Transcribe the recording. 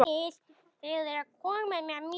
Því lengur því betra.